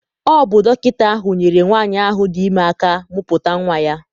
Ọ bụ dọkịta ahụ nyere nwaanyị ahụ dị ime aka mụputa nwa ya.